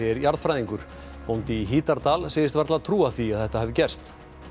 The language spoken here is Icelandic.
jarðfræðingur bóndi í Hítardal segist varla trúa því að þetta hafi gerst